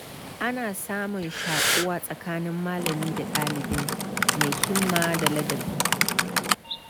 Ana samun shaƙuwa tsakanin malami da ɗalibi mai himma da ladabi.